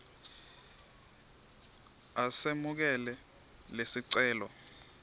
a semukele lesicelo